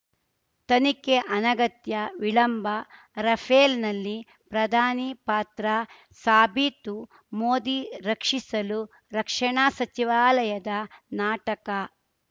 ತನಿಖೆ ಅನಗತ್ಯ ವಿಳಂಬ ರಫೇಲ್‌ನಲ್ಲಿ ಪ್ರಧಾನಿ ಪಾತ್ರ ಸಾಬೀತು ಮೋದಿ ರಕ್ಷಿಸಲು ರಕ್ಷಣಾ ಸಚಿವಾಲಯದ ನಾಟಕ